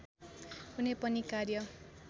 कुनै पनि कार्य